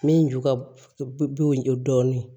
Min ju ka bon dɔɔnin